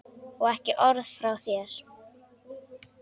Og ekki orð frá þér!